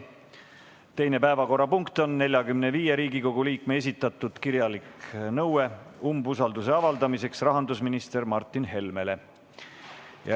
Teine päevakorrapunkt on 45 Riigikogu liikme esitatud kirjalik nõue umbusalduse avaldamiseks rahandusminister Martin Helmele.